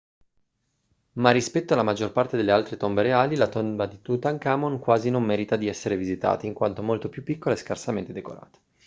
ma rispetto alla maggior parte delle altre tombe reali la tomba di tutankhamon quasi non merita di essere visitata in quanto molto più piccola e scarsamente decorata